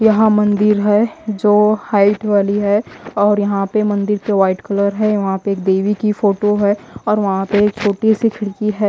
यहां मंदिर है जो हाइट वाली है और यहां पे मंदिर के व्हाइट कलर है वहां पे एक देवी की फोटो है और वहां पे एक छोटी सी खिड़की है।